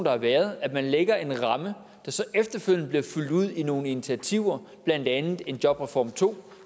har været at man lægger en ramme der så efterfølgende bliver fyldt ud med nogle initiativer blandt andet en jobreform to